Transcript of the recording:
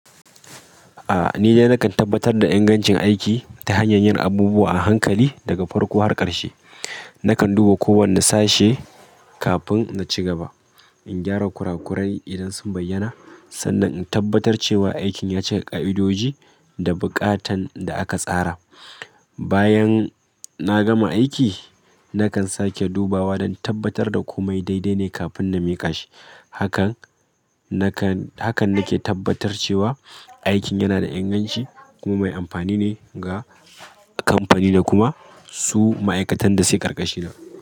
A'a ni dai nakan tabbatar da ingancin aiki ta hanyar yin abubuwa a hankali daga farko har ƙarshe. Nakan duba kowane sashe kafin na ci gaba. In gyara kura kurai idan sun bayyana, sannan in tabbatar cewa aikin ya cika ƙa idoji da buƙatan da'aka tsara. Bayan na gama aiki, nakan sake dubawa don tabbatar da kome dai-dai ne kafin na miƙa shi. Hakan nakan, hakan nake tabbatar cewa aikin yana da inganci kuma mai amfani ne ga kamfani da kuma su ma'aikatan da suke ƙarƙashina.